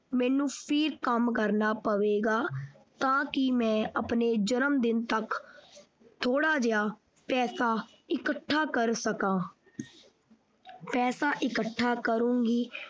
ਮੈਂ ਫਿਰ ਕੰਮ ਕਰਨਾ ਪਵੇਗਾ ਤਾਂ ਕਿ ਮੈਂ ਆਪਣੇ ਜਨਮਦਿਨ ਤੱਕ ਥੋੜਾ ਜੇਹਾ ਪੈਸਾ ਇਕੱਠਾ ਕਰ ਸਕਾਂ ਪੈਸਾ ਇਕੱਠਾ ਕਰੂੰਗੀ।